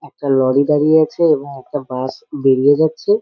একটা লরি দাঁড়িয়ে আছে এবং একটা বাস বেরিয়ে যাচ্ছে।